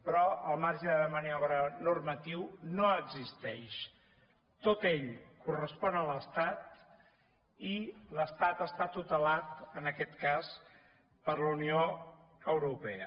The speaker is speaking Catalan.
però el marge de maniobra normatiu no existeix tot ell correspon a l’estat i l’estat està tutelat en aquest cas per la unió europea